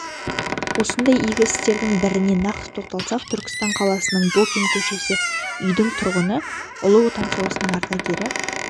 осындай игі істердің біріне нақты тоқталсақ түрксітан қаласының бокин көшесі үйдің тұрғыны ұлы отан соғысының ардагері